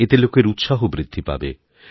এতে লোকের উৎসাহ বৃদ্ধি পাবে